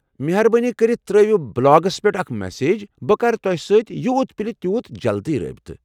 مہربٲنی كٔرتھ تر٘ٲوِو بلاگس منز اكھ مسیج ، بہِ كرٕ توہہِ سۭتۍ یوٗت پِلہِ تیوٗت جلد رٲبطہٕ ۔